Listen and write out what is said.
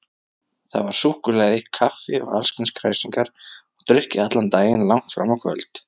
Þar var súkkulaði, kaffi og allskyns kræsingar og drukkið allan daginn langt fram á kvöld.